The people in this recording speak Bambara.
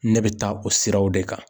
Ne bɛ taa o siraw de kan.